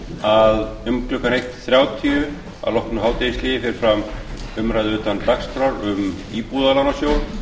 að um klukkan eitt þrjátíu að loknu hádegishléi fer fram umræða utan dagskrár um íbúðalánasjóð